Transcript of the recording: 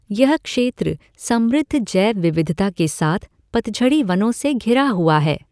यह क्षेत्र समृद्ध जैव विविधता के साथ पतझड़ी वनों से घिरा हुआ है।